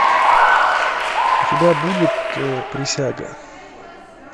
у тебя будет присяга